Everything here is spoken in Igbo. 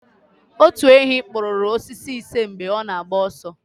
Otu enyí kụpụrụ osisi ise mgbe ọ na-agba ọsọ